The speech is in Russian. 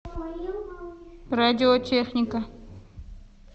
радиотехника